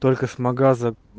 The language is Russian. только с магаза